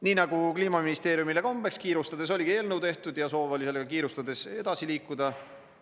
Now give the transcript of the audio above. Nii nagu Kliimaministeeriumile kombeks, kiirustades oligi eelnõu tehtud ja soov oli sellega kiirustades edasi liikuda.